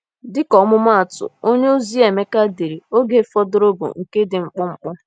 Dịka ọmụmaatụ, onyeozi Emeka dere: Oge fọdụrụ bụ nke dị mkpụmkpụ.